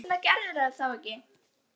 En hvers vegna gerðirðu það þá ekki?